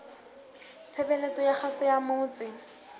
tshebeletso ya kgaso ya motse